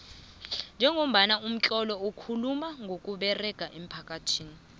umtlolo kaweyers ukhuluma ngokuberegela umphakathi